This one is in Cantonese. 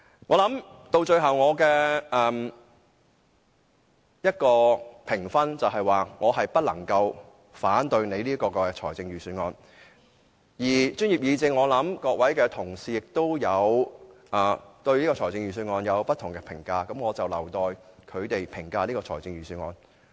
我最後的評分，是我不能反對司長的預算案，至於專業議政其他成員，他們可能對預算案有不同評價，我留待他們自行評價預算案。